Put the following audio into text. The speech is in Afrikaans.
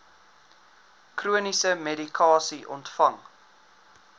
chroniese medikasie ontvang